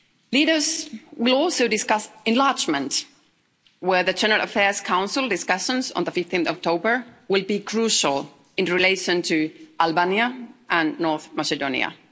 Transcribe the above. Leaders will also discuss enlargement where the General Affairs Council discussions on the 15th October will be crucial in relation to Albania and North Macedonia.